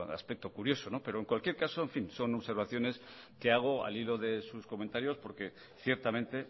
aspecto curioso pero en cualquier caso en fin son observaciones que hago al hilo de sus comentarios porque ciertamente